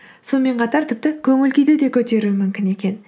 сонымен қатар тіпті көңіл күйді де көтеруі мүмкін екен